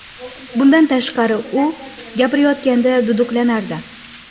Bundan tashqari, u gapirayotganda duduqlanardi.